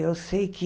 Eu sei que...